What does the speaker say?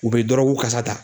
U be dɔrɔgu kasa ta